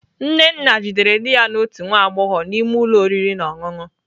Nnenna jidere di ya na otu nwa agbọghọ n'ime ụlọ oriri na ọṅụṅụ.